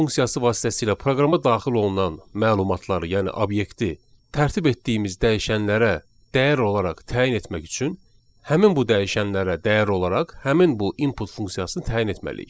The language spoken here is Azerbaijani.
Input funksiyası vasitəsilə proqrama daxil olunan məlumatları, yəni obyekti tərtib etdiyimiz dəyişənlərə dəyər olaraq təyin etmək üçün həmin bu dəyişənlərə dəyər olaraq həmin bu input funksiyasını təyin etməliyik.